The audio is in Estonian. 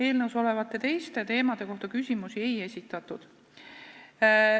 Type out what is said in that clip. Eelnõus olevate teiste teemade kohta küsimusi ei esitatud.